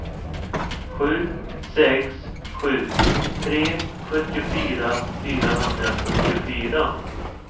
sju sex sju tre sjuttiofyra fyrahundrafyrtiofyra